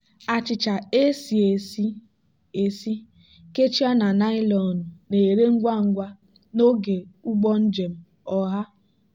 achịcha e esi esi esi kechie na naịlọn na-ere ngwa ngwa n'oge ụgbọ njem ọha.